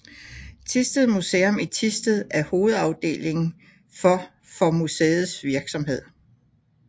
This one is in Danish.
Thisted Museum i Thisted er hovedafdeling for for museets virksomhed